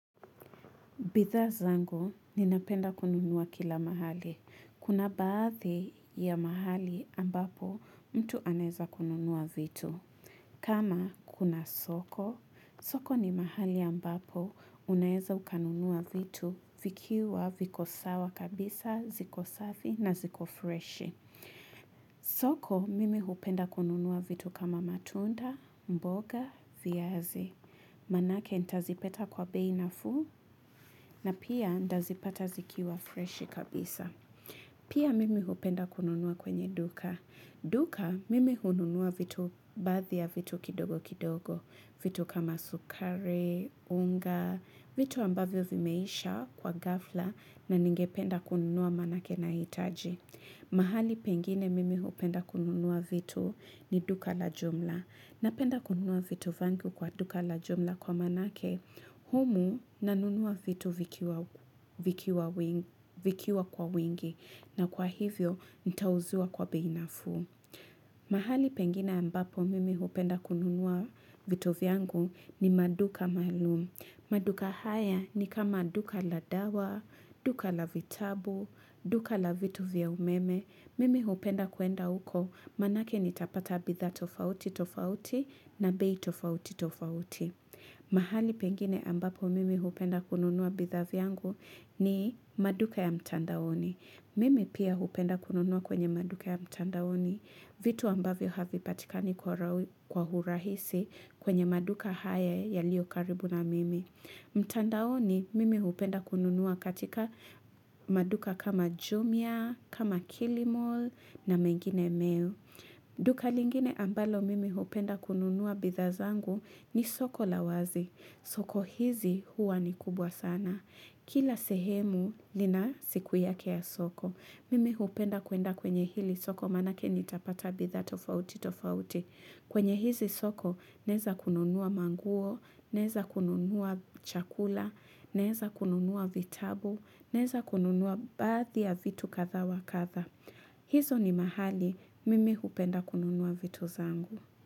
Bidhaa zangu, ninapenda kununua kila mahali. Kuna baadhi ya mahali ambapo mtu anaeza kununua vitu. Kama kuna soko, soko ni mahali ambapo unaweza ukanunua vitu vikiwa viko sawa kabisa, ziko safi na ziko freshi. Soko mimi hupenda kununua vitu kama matunda, mboga, viazi. Maanake nitazipata kwa bei nafuu na pia nitazipata zikiwa freshi kabisa. Pia mimi hupenda kununua kwenye duka. Duka mimi hununua vitu baadhi ya vitu kidogo kidogo. Vitu kama sukari, unga, vitu ambavyo vimeisha kwa ghafla na ningependa kununua maanake nahitaji. Mahali pengine mimi hupenda kununua vitu ni duka la jumla. Napenda kununua vitu vyangu kwa duka la jumla kwa maanake, humu nanunua vitu vikiwa kwa wingi, na kwa hivyo nitauziwa kwa bei nafuu. Mahali pengine ambapo mimi hupenda kununua vitu vyangu ni maduka maalum. Maduka haya ni kama duka la dawa, duka la vitabu, duka la vitu vya umeme. Mimi hupenda kuenda huko maanake nitapata bidhaa tofauti, tofauti na bei tofauti, tofauti. Mahali pengine ambapo mimi hupenda kununua bidhaa vyangu ni maduka ya mtandaoni. Mimi pia hupenda kununua kwenye maduka ya mtandaoni, vitu ambavyo havipatikani kwa urahisi kwenye maduka haya yalio karibu na mimi. Mtandaoni mimi hupenda kununua katika maduka kama jumia, kama kilimall na menginemeo. Duka lingine ambalo mimi hupenda kununua bidhaa zangu ni soko la wazi. Soko hizi huwa ni kubwa sana. Kila sehemu lina siku yake ya soko. Mimi hupenda kuenda kwenye hili soko maanake nitapata bidhaa tofauti tofauti. Kwenye hizi soko, naeza kununua manguo, naeza kununua chakula, naeza kununua vitabu, naeza kununua baadhi ya vitu kadha wa kadha. Hizo ni mahali, mimi hupenda kununua vitu zangu.